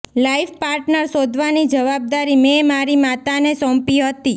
life partner શોધવાની જવાબદારી મેં મારી માતાને સોંપી હતી